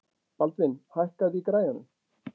Baldvin, hækkaðu í græjunum.